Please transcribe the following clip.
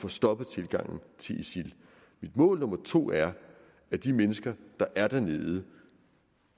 få stoppet tilgangen til isil mit mål nummer to er at de mennesker der er dernede